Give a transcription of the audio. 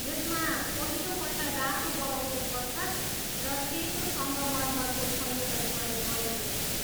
यसमा पहिलोपल्ट रातो बलौटे पत्थर र सेतो सङ्गमरमरको संयोजन प्रयोग गरिएको थियो।